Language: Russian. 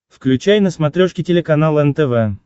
включай на смотрешке телеканал нтв